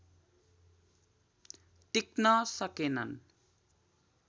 टिक्न सकेनन्